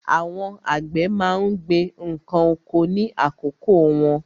Àwọn àgbẹ̀ má ń gbin ǹkan oko ní àkókò wọn.